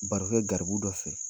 Baro kɛ garibu dɔ fɛ.